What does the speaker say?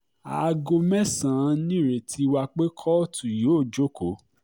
aago mẹ́sàn-án nìrètí wà pé kóòtù yóò jókòó